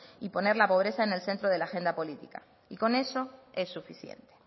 y poner la pobreza en el centro de la agenda política y con eso es suficiente